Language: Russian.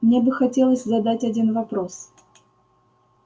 мне бы хотелось задать один вопрос